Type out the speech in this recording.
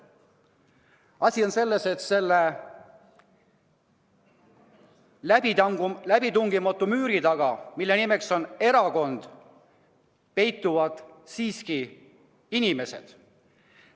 Asi on selles, et läbitungimatu müüri taga, mille nimeks on erakond, peituvad siiski inimesed.